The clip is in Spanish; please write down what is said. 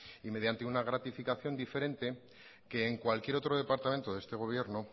y mediante una gratificación diferente que en cualquier otro departamento de esta gobierno